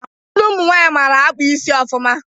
Ụfọdụ ụmụ nwaanyị mara akpa isi ofụma